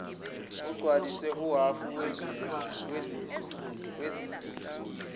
kugcwaliswe uhafu wendingilizi